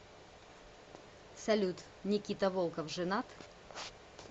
салют никита волков женат